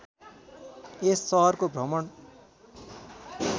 यस सहरको भ्रमण